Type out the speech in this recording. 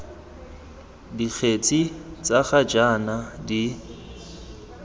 dikgetse tsa ga jaana di